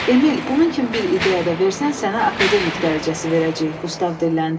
Emil, bunun kimi bir ideya da versən, sənə akademik dərəcəsi verəcəyik, Qustav dilləndi.